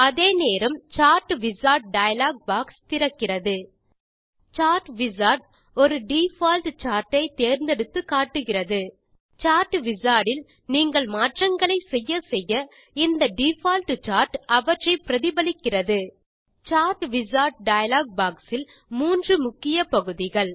அதே நேரம் chart wizard dialog box திறக்கிறது சார்ட் விசார்ட் ஒரு டிஃபால்ட் சார்ட் ஐ தேர்ந்தெடுத்து காட்டுகிறது சார்ட் விசார்ட் இல் நீங்கள் மாற்றங்களை செய்ய செய்ய இந்த டிஃபால்ட் சார்ட் அவற்றை பிரதிபலிக்கிறது சார்ட் விசார்ட் டயலாக் பாக்ஸ் இல் மூன்று முக்கிய பகுதிகள்